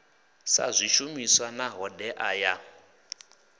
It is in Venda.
ha swishumiswa na hoddea ya